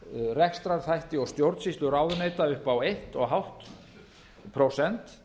rekstrarþætti og stjórnsýslu ráðuneyta upp á eins og hálft prósent